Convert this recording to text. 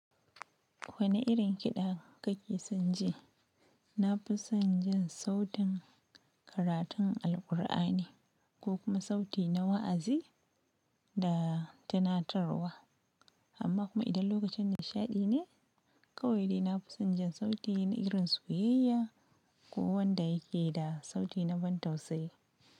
Wane irin kiɗa kake son ji? Na fi son jin sautin karatun Alqur'ani ko kuma sauti na wa'azi da tunatarwa. Amma kuma idan lokacin nishaɗi ne, kawai dai na fi son jin sauti na irin soyayya ko wanda yake da sauti na ban tausayi.